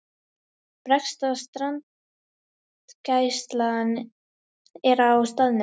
Breska strandgæslan er á staðnum